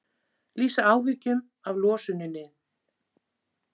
Lýsa áhyggjum af losuninni